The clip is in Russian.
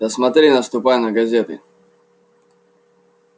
да смотри наступай на газеты